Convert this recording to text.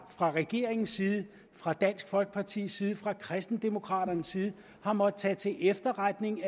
fra regeringens side fra dansk folkepartis side fra kristendemokraternes side har måttet tage til efterretning